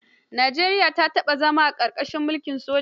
Nijeriya ta taɓa zama a ƙarƙashin mulkin soja.